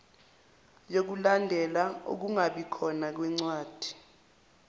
yokulandela ukungabikhona kwencwadi